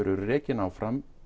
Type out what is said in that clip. eru rekin áfram